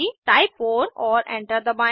type 4 और enter दबाएं